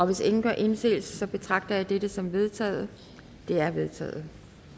hvis ingen gør indsigelse betragter jeg det som vedtaget det er vedtaget